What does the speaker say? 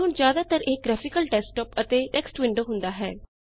ਪਰ ਹੁਣ ਜ਼ਿਆਦਾਤਰ ਇਹ ਗ੍ਰਾਫਿਕਲ ਡੈਸਕਟੌਪ ਤੇ ਇਕ ਟੈੱਕ੍ਸਟ ਵਿੰਡੋ ਹੁੰਦਾ ਹੈ